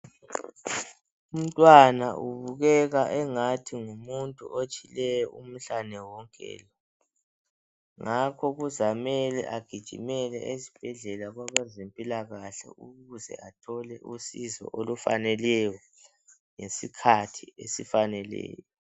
Umntwana ubukeka engathi ngumuntu otshileyo umhlane wonke, ngakho kuzamele agijimele esibhedlela kwabezempilakahle ukuze athole usizo olufaneleyo, ngesikhathi esifaneleyo.